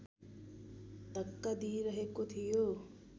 धक्का दिइरहेको थियो